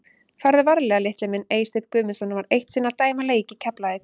Farðu varlega litli minn Eysteinn Guðmundsson var eitt sinn að dæma leik í Keflavík.